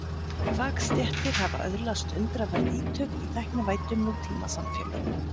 Fagstéttir hafa öðlast undraverð ítök í tæknivæddum nútímasamfélögum.